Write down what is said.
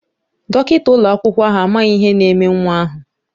Dọkịta ụlọakwụkwọ ahụ amaghị ihe na-eme nwa ahụ.